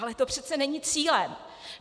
Ale to přece není cílem.